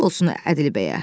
Halal olsun Ədilbəyə.